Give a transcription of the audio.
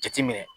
Jateminɛ